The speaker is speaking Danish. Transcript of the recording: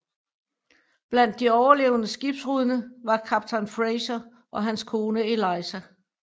Blandt de overlevende skibbrudne var kaptajn Fraser og hans kone Eliza